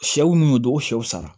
Sɛw minnu tɔgɔ shɛw sara